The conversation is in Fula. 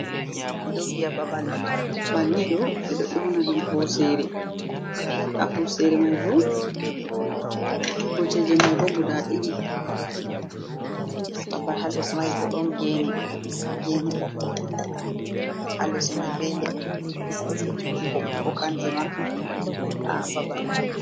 Ɓeɗo viya babal banniɗo ɓeɗo auna ɗum hosere a hosere mai bo koceje mai bo guda ɗiɗi, babbal halles mai bo ɗon gene, gene ɓokko-ɓokko halles mai be leɗɗe ɓokko-ɓokko kanje ma a babal mai.